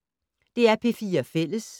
DR P4 Fælles